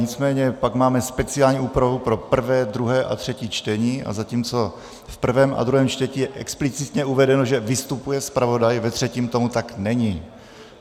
Nicméně pak máme speciální úpravu pro prvé, druhé a třetí čtení, a zatímco v prvém a druhém čtení je explicitně uvedeno, že vystupuje zpravodaj, ve třetím tomu tak není.